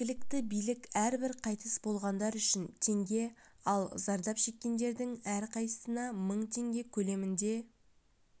жергілікті билік әрбір қайтыс болғандар үшін теңге ал зардап шеккендердің әрқайсына мың теңге көлемінде